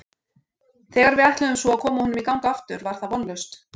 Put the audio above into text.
Þegar við ætluðum svo að koma honum í gang aftur var það vonlaust.